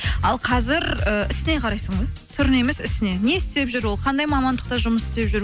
ал қазір ііі ісіне қарайсың ғой түріне емес ісіне не істеп жүр ол қандай мамандықта жұмыс істеп жүр